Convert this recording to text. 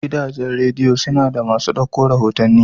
Gidajen radiya suna da maso dauko rahotanni.